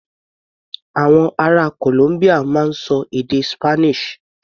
Àwọn ará Columbia máa ń ṣọ èdè Spanish.